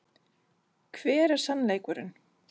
Hver er sannleikurinn?